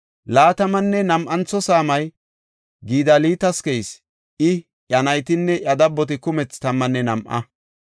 Laatamanne nam7antho saamay Gidaltas keyis; I, iya naytinne iya dabboti kumethi tammanne nam7a.